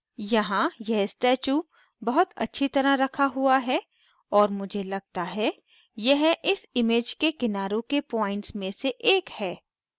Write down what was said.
यहाँ यह statue बहुत अच्छी तरह रखा हुआ है और मुझे लगता है यह इस image के किनारों के points में से एक है